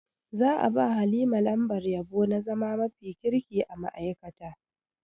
Za a ba Halima lambar yabo na zama mafi kirki a ma'aikata.